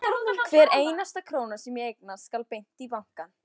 Hver einasta króna sem ég eignast skal beint í banka.